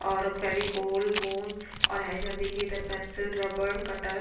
और फेविकोल गोंद और इधर देखिये इधर पेन्सिल रबर कटर --